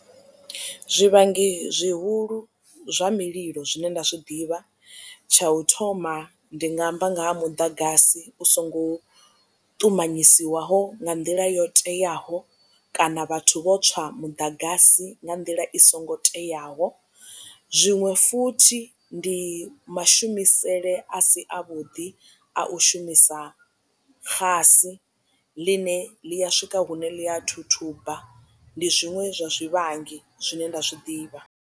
Zwivhangi zwihulu zwa mililo zwine nda zwi ḓivha tsha u thoma ndi nga amba nga ha muḓagasi u songo ṱumanyisiwaho nga nḓila yo teaho kana vhathu vho tswa muḓagasi nga nḓila i songo teaho zwiṅwe futhi ndi mashumisele a si a vhuḓi a u shumisa xasi ḽine ḽi a swika hune ḽia thuthuba ndi zwiṅwe zwa zwivhangi zwine nda zwi ḓivha.